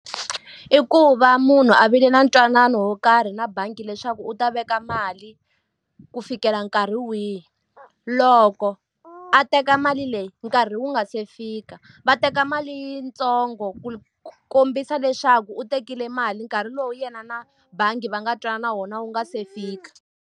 I ku va munhu a vile na ntwanano wo karhi na bangi leswaku u ta veka mali ku fikela nkarhi wihi. Loko a teka mali leyi nkarhi wu nga se fika, va teka mali yitsongo ku kombisa leswaku u tekile mali nkarhi lowu yena na bangi va nga twanana wona wu nga se fika.